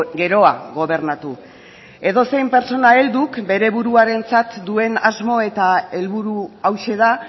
geroa gobernatu edozein pertsona helduk bere buruarentzat duen asmo eta helburua hauxe da